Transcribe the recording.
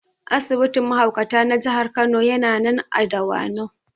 Asibitin mahaukata na Jihar Kano yana nan a Dawanau